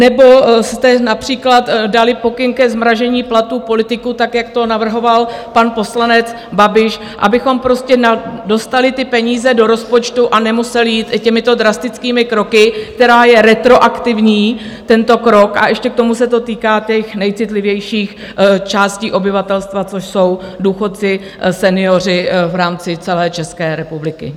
Nebo jste například dali pokyn ke zmrazení platů politiků, tak jak to navrhoval pan poslanec Babiš, abychom prostě dostali ty peníze do rozpočtu a nemuseli jít těmito drastickými kroky, který je retroaktivní, tento krok, a ještě k tomu se to týká těch nejcitlivějších částí obyvatelstva, což jsou důchodci, senioři v rámci celé České republiky?